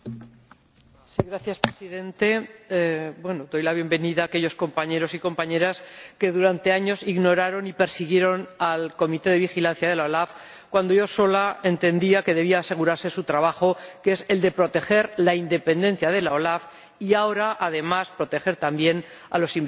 Señor Presidente, doy la bienvenida a aquellos compañeros y compañeras que durante años ignoraron y persiguieron al Comité de Vigilancia de la OLAF, cuando yo sola entendía que debía asegurarse su trabajo, que es el de proteger la independencia de la OLAF y, ahora, además, proteger también a los investigados.